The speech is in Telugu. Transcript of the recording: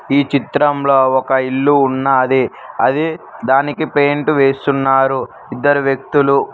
ఈ చిత్రంలో ఒక ఇల్లు ఉన్నా అదే దానికి పెయింట్ వేస్తున్నారు ఇద్దరు వ్యక్తులు.